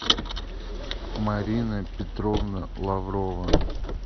марина петровна лаврова